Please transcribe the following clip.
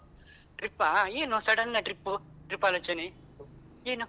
Trip ಆ ಏನು sudden trip trip ಆಲೋಚನೆ ಏನು?